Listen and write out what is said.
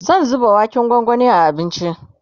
zan zuba waken gwangwani a abincin